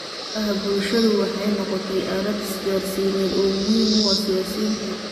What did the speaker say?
Baraha bulshadu waxay noqotay aalad isgaarsiineed oo muhiim u ah siyaasiyiinta.